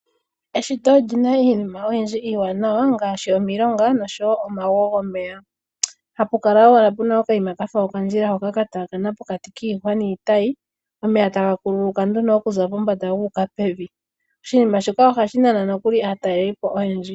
Eshito olyina iinima oyindji iiwanawa ngaashi, omilonga nosho wo omago gomeya, hapukala owala puna okayima kafa okandjila hoka kataakana pokati kiihwa niitayi, omeya tagakunguluka nduno okuza pombanda guuka pevi. Oshinima shika ohashinana nokuli aataleli po oyendji.